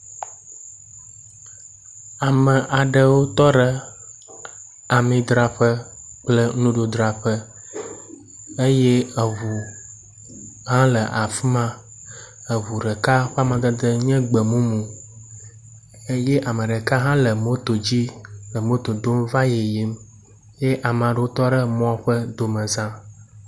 Ame aɖewo tɔ ɖe amidzraƒe kple nuɖudzraƒe eye eŋu hã le afi ma. Eŋu ɖeka ƒe amadede nye gbemumu eye ame ɖeka hã le moto dzi le moto dom va yiyim eye ame aɖewo tɔ ɖe emɔ ƒe domeza.